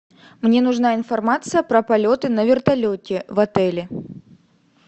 мне нужна информация про полеты на вертолете в отеле